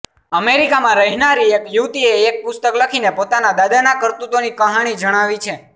અમેરિકામાં રહેનારી એક યુવતીએ એક પુસ્તક લખીને પોતાના દાદાના કરતૂતોની કહાણી જણાવી છે